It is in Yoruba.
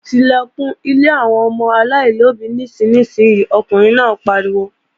Tilẹ̀kùn ilé àwọn ọmọ aláìlóbí nísinsìnyí, ọkùnrin náà pariwo!